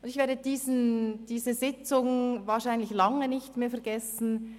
Ich werde diese Sitzung wahrscheinlich noch lange nicht vergessen.